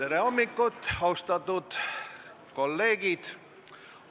Tere hommikust, austatud kolleegid!